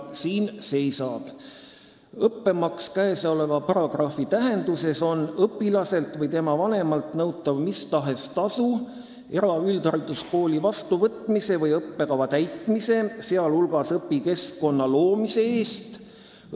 Siin seisab: "Õppemaks käesoleva paragrahvi tähenduses on õpilaselt või tema vanemalt nõutav mistahes tasu eraüldhariduskooli vastuvõtmise või õppekava täitmise, sealhulgas õpikeskkonna loomise eest.